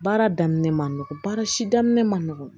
Baara daminɛ man nɔgɔn baara si daminɛ ma nɔgɔn